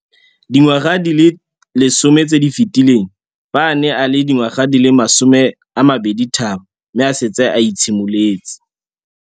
Dingwaga di le 10 tse di fetileng, fa a ne a le dingwaga di le 23 mme a setse a itshimoletse